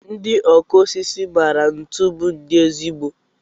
Ndị ọkụ osisi maara ntu bụ ndi ezigbo.